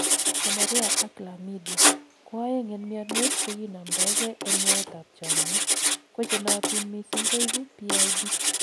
gonorrhea ak chlamydia, ko oeng en mionwek chekinomdogei en yaet ab chomyet ,ko chenootin missing koibu PID